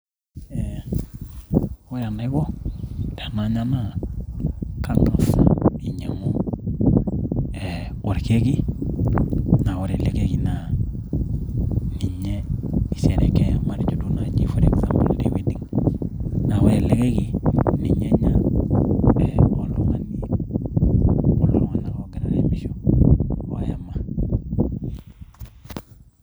ee ore enaiko tenanya naa kang'as ainyiang'u orkeki, ore ele keki naa ninye isherekea matejo duo naaji for example te wedding .naa ore ele keki ninye enya iltung'anak loogira aayama.